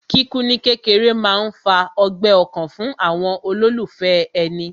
Kíkú ní kékeré máa ń fa ọgbẹ́ ọkàn fún àwọn olólùfẹ́ èni